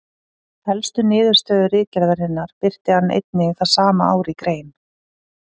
Helstu niðurstöðu ritgerðarinnar birti hann einnig það sama ár í grein.